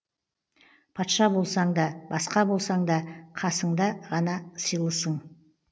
патша болсаң да басқа болсаң да қасында ғана сыйлысың